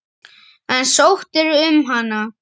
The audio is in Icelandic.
En sóttirðu um hana?